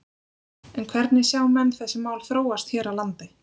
En hvernig sjá menn þessi mál þróast hér á landi?